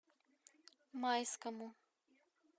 майскому